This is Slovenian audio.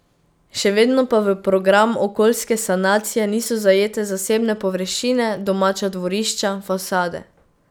Še vedno pa v program okoljske sanacije niso zajete zasebne površine, domača dvorišča, fasade.